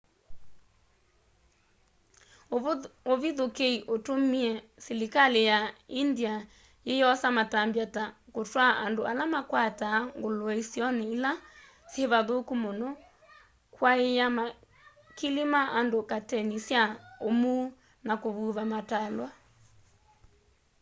uvithukîi utumie silikali ya india yiyosa matambya ta kutwaa andu ala makwataa ngulue isioni ila syivathuku muno kwaaiya makili ma andu kateni sya umuu na kuvuva matalwa